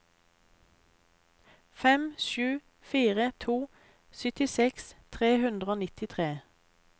fem sju fire to syttiseks tre hundre og nittitre